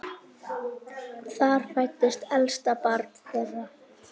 Þar fæddist elsta barn þeirra.